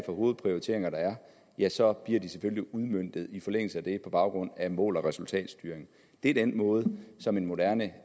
hovedprioriteringer der er så bliver de selvfølgelig udmøntet i forlængelse af det på baggrund af mål og resultatstyring det er den måde som en moderne